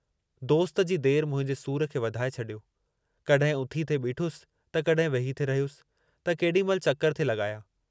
दोस्त जी देर मुंहिंजे सूर खे वधाए छॾियो, कहिं उथी थे बीठुसि, त कहिं वेही थे रहियुसि, त केॾी महिल चकर थे लॻाया।